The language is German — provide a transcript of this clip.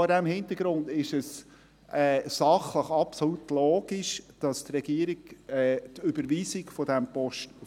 Vor diesem Hintergrund ist es sachlich absolut logisch, dass die Regierung die Überweisung